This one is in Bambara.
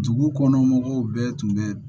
Dugu kɔnɔ mɔgɔw bɛɛ tun bɛ